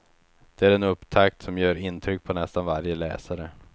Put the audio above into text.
Det är en upptakt som gör intryck på nästan varje läsare.